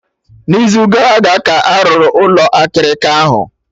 N'izu gara aga ka a rụrụ Ụlọ akịrịka ahụ